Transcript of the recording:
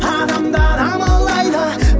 адамдар амалдайды